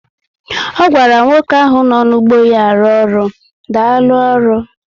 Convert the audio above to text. O gwara nwoke ahụ nọ nu ụgbọ ya arụ ọrụ, Daalu oru